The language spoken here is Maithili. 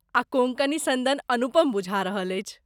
आ कोंकणी सन्दन अनुपम बुझा रहल अछि।